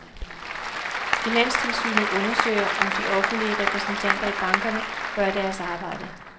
Finanstilsynet undersøger, om de offentlige repræsentanter i bankerne gør deres arbejde.